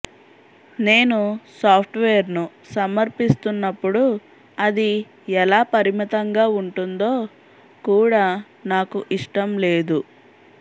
నేను సాఫ్ట్వేర్ను సమర్పిస్తున్నప్పుడు అది ఎలా పరిమితంగా ఉంటుందో కూడా నాకు ఇష్టం లేదు